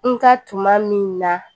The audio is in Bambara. N ka tuma min na